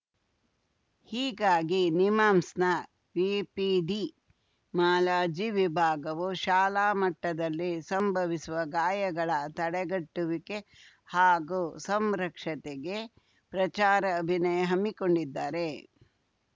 ಹೀಗಾಗಿ ನಿಮ್ಹಾನ್ಸ್‌ನ ಎಪಿಡಿಮಾಲಜಿ ವಿಭಾಗವು ಶಾಲಾ ಮಟ್ಟದಲ್ಲಿ ಸಂಭವಿಸುವ ಗಾಯಗಳ ತಡೆಗಟ್ಟುವಿಕೆ ಹಾಗೂ ಸಂರಕ್ಷತೆಗೆ ಪ್ರಚಾರ ಅಭಿನಯ ಹಮ್ಮಿಕೊಂಡಿದ್ದಾರೆ